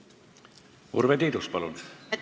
Urve Tiidus, palun!